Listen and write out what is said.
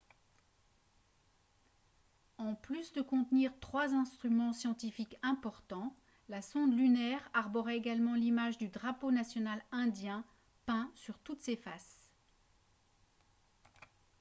en plus de contenir trois instruments scientifiques importants la sonde lunaire arborait également l'image du drapeau national indien peint sur toutes ses faces